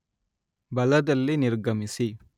ಬಲದಲ್ಲಿ ನಿರ್ಗಮಿಸಿ